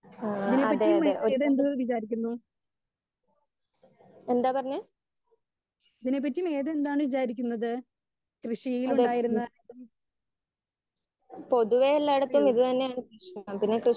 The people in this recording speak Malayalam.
സ്പീക്കർ 1 അതെ അതെ എന്താ പറഞ്ഞേ? അതെ ഹ്മ് പൊതുവെ എല്ലായിടത്തും ഇത് തന്നെയാണ് പ്രശ്നം ഇതിനെകുറിച്ച്